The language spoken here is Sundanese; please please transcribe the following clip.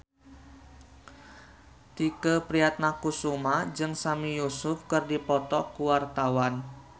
Tike Priatnakusuma jeung Sami Yusuf keur dipoto ku wartawan